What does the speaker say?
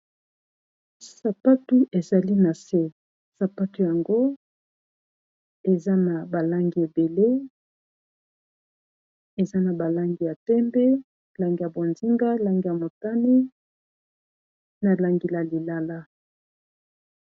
Sapatu ezali na se sapatu yango eza na ba langi ebele eza na ba langi ya pembe langi ya bonzinga langi ya motani na langi la lilala.